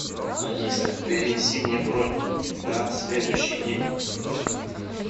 алиса перенеси мне бронь на следующий день